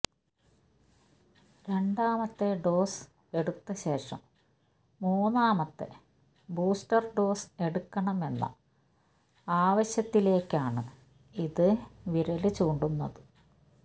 രണ്ടാമത്തെ ഡോസ് എടുത്തശേഷം മൂന്നാമത്തെ ബൂസ്റ്റര് ഡോസ് എടുക്കണമെന്ന ആവശ്യത്തിലേക്കാണ് ഇത് വിരല് ചൂണ്ടുന്നത്